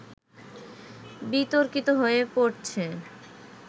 বিতর্কিত হয়ে পড়ছে